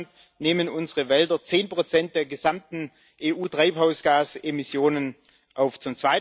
Insgesamt nehmen unsere Wälder zehn Prozent der gesamten EU-Treibhausgasemissionen auf.